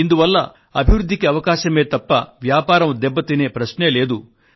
ఇందువల్ల అభివృద్ధికి అవకాశమే తప్ప వ్యాపారం దెబ్బతినే ప్రశ్నే లేదు